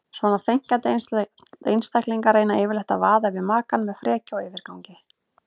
Svona þenkjandi einstaklingar reyna yfirleitt að vaða yfir makann með frekju og yfirgangi.